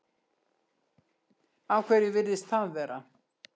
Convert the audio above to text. Af hverju virðist það vera?